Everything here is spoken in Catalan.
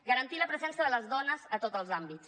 garantir la presència de les dones a tots els àmbits